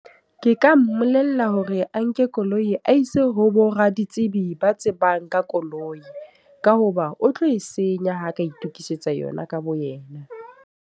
Ke ka mmolella hore a nke koloi a ise ho bo raditsibi ba tsebang ka koloi. Ka hoba o tlo e senya ha ka itokisetsa yona ka bo yena.